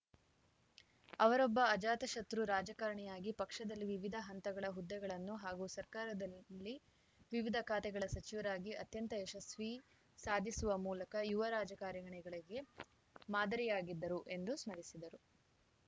ಅವರೊಬ್ಬ ಅಜಾತಶತ್ರು ರಾಜಕಾರಣಿಯಾಗಿ ಪಕ್ಷದಲ್ಲಿ ವಿವಿಧ ಹಂತಗಳ ಹುದ್ದೆಗಳನ್ನು ಹಾಗೂ ಸರ್ಕಾರದಲ್ಲಿ ವಿವಿಧ ಖಾತೆಗಳ ಸಚಿವರಾಗಿ ಅತ್ಯಂತ ಯಶಸ್ವಿ ಸಾಧಿಸುವ ಮೂಲಕ ಯುವ ರಾಜಕಾರಣಿಗಳಿಗೆ ಮಾದರಿಯಾಗಿದ್ದರು ಎಂದು ಸ್ಮರಿಸಿದರು